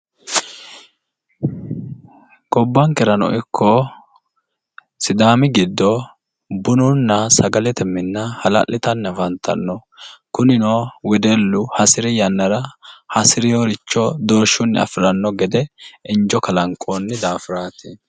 Gobbankerano ikko sidaami giddo bununna sagalete minna ha'lallitannitanni afantanno, kunino wedellu hasiri yannara hasireeworicho doorshunni afi'ranno gede injo kalanqoonni daafiraati.